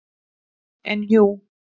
En jú.